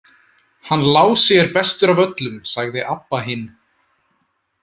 Hann Lási er bestur af öllum, sagði Abba hin.